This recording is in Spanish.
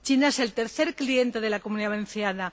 China es el tercer cliente de la Comunidad Valenciana.